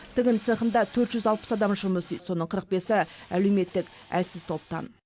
тігін цехында төрт жүз алпыс адам жұмыс істейді соның қырық бесі әлеуметтік әлсіз топтан